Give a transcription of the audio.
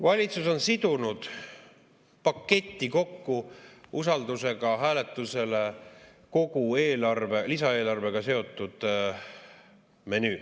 Valitsus on sidunud paketti kokku usaldusega hääletusele kogu lisaeelarvega seotud menüü.